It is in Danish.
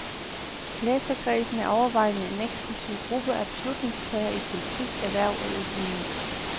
Læserkredsen er overvejende en eksklusiv gruppe af beslutningstagere i politik, erhverv og økonomi.